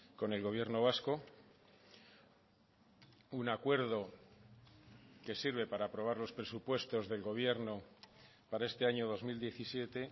con el gobierno vasco un acuerdo que sirve para aprobar los presupuestos del gobierno para este año dos mil diecisiete